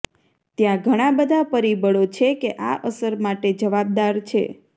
ત્યાં ઘણા બધા પરિબળો છે કે આ અસર માટે જવાબદાર છે